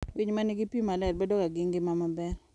Winy ma nigi pi maler bedoga gi ngima maber.